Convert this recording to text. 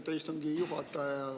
Aitäh, istungi juhataja!